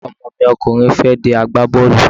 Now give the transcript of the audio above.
Ọmọ mi ọkùnrin fẹ́ di agbábọ́ọ̀lù